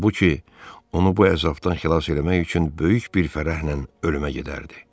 Halbuki, onu bu əzabdan xilas eləmək üçün böyük bir fərəhlə ölümə gedərdi.